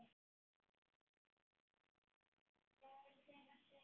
Hvað eru þeir að segja?